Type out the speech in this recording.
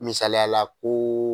Misaliya la ko